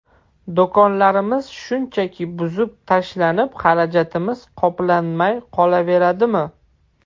Do‘konlarimiz shunchaki buzib tashlanib, xarajatimiz qoplanmay qolaveradimi?